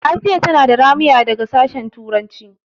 Asiya tana da ramuya daga sashen turanci.